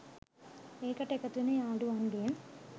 ඒකට එකතු වෙන යාළුවන්ගෙන්